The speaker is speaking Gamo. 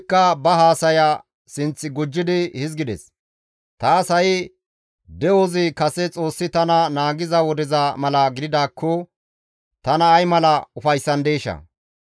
«Taas ha7i de7ozi kase Xoossi tana naagiza wodeza mala gididaakko tana ay mala ufayssandeeshaa!